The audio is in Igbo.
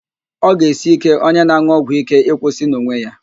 Ọ ga-esi íké onye na-an̄ụ ọgwụíké ịkwụsị n'onwe ya